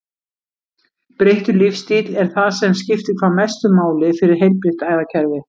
Breyttur lífsstíll er það sem skiptir hvað mestu máli fyrir heilbrigt æðakerfi.